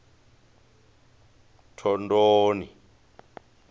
thondoni